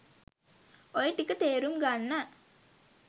ඔය ටික තේරුම් ගන්න